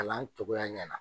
Kalan cogoya ɲɛna.